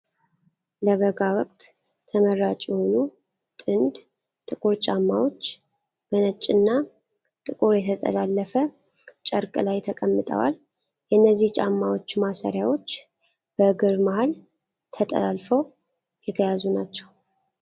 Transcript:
ለበጋ ወቅት ተመራጭ የሆኑ፣ ጥንድ ጥቁር ጫማዎች በነጭና ጥቁር የተጠላለፈ ጨርቅ ላይ ተቀምጠዋል። የእነዚህ ጫማዎች ማሰሪያዎች በእግር መሀል ተጠላልፈው የተያዙ ናቸው።